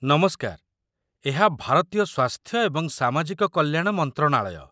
ନମସ୍କାର! ଏହା ଭାରତୀୟ ସ୍ୱାସ୍ଥ୍ୟ ଏବଂ ସାମାଜିକ କଲ୍ୟାଣ ମନ୍ତ୍ରଣାଳୟ।